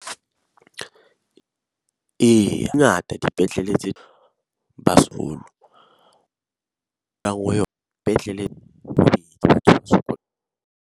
Eya, e ngata dipetlele tse sekolo .